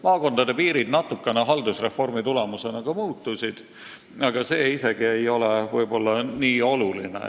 Maakondade piirid haldusreformi tulemusena natukene muutusid, aga see isegi ei ole võib-olla nii oluline.